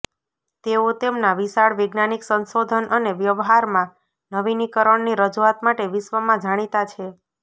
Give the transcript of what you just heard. તેઓ તેમના વિશાળ વૈજ્ઞાનિક સંશોધન અને વ્યવહારમાં નવીનીકરણની રજૂઆત માટે વિશ્વમાં જાણીતા છે